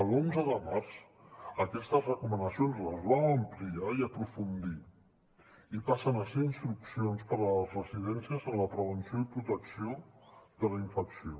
l’onze de març aquestes recomanacions les vam ampliar i aprofundir i passen a ser instruccions per a les residències en la prevenció i protecció de la infecció